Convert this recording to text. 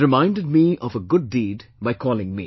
He has reminded me of a good deed by calling me